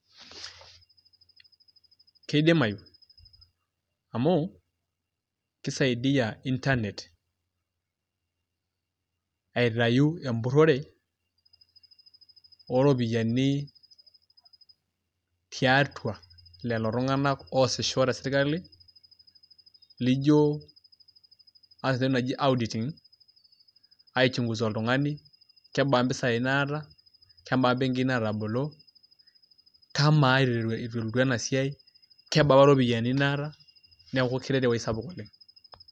keidimayu, amu kisaidia inernet aitayu empuriore ooropiyiani tiatua lelo tunganak oosisho tesirkali. llijo aas entoki naji auditing aichungusa oltungani kebaa mpisai naata, kebaa imbenkii naatabolo. kamaa eitu elotu ena siai. kebaa apa ropiyiani naata. neeku keret ewuei sapuk oleng.